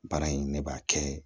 Baara in ne b'a kɛ